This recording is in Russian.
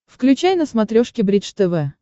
включай на смотрешке бридж тв